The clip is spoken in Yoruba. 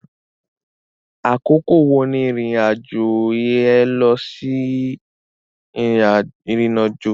Àkókò wo ni irin-ajo é lọsí Irinajo